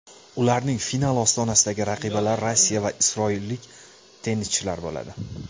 Ularning final ostonasidagi raqibalari Rossiya va isroillik tennischilar bo‘ladi.